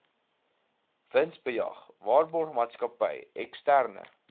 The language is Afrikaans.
winsbejag waarborgmaatskappy eksterne